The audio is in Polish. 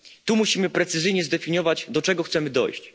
Tu musimy precyzyjnie zdefiniować, do czego chcemy dojść.